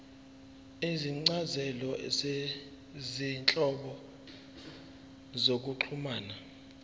izincazelo zezinhlobo zokuxhumana